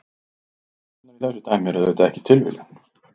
Tölurnar í þessu dæmi eru auðvitað ekki tilviljun.